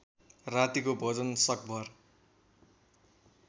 रातिको भोजन सकभर